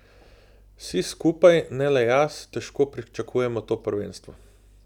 Vsi skupaj, ne le jaz, težko pričakujemo to prvenstvo.